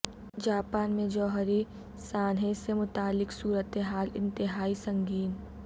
Japan میں جوہری سانحے سے متعلق صورت حال انتہائی سنگین